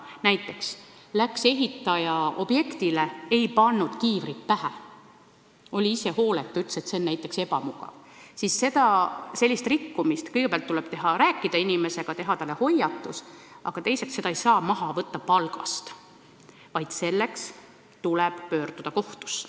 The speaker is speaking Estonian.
Näiteks, kui ehitaja läks objektile, aga ei pannud kiivrit pähe – oli ise hooletu ja ütles näiteks, et see on ebamugav –, siis sellise rikkumise puhul tuleb kõigepealt rääkida inimesega, teha talle hoiatus, ja selle eest ei saa palgast raha maha võtta, vaid tuleb pöörduda kohtusse.